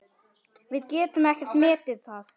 Við getum ekkert metið það.